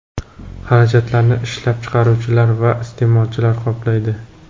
Xarajatlarni ishlab chiqaruvchilar va iste’molchilar qoplaydi.